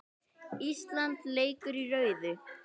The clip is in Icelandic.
Ísland leikur í rauðu